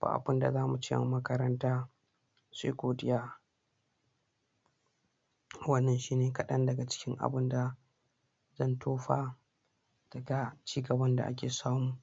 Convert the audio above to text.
ba abin da za mu ce ma makaranta sai godiya wannan shi ne kaɗan dga cikin abin da zan tofa da cigaban da ake samu